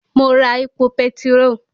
Mo ra epo petiró